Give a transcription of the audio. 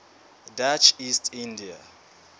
dutch east india